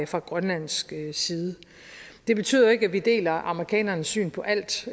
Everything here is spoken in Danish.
fra grønlandsk side det betyder jo ikke at vi deler amerikanernes syn på alt